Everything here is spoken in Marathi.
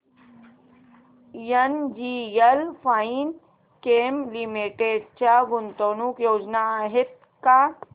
एनजीएल फाइनकेम लिमिटेड च्या गुंतवणूक योजना आहेत का